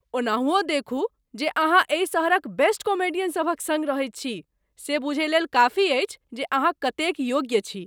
ओनहुँओ देखू जे अहाँ एहि शहरक बेस्ट कॉमेडियन सभक सङ्ग रहैत छी से बुझय लेल काफी अछि जे अहाँ कतेक योग्य छी।